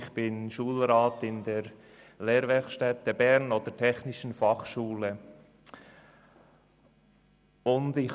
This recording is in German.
Ich bin Schulrat bei der Technischen Fachschule Bern (TF Bern).